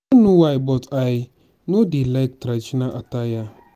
i no know why but i no dey like traditional attire